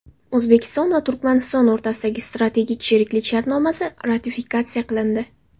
O‘zbekiston va Turkmaniston o‘rtasidagi strategik sheriklik shartnomasi ratifikatsiya qilindi.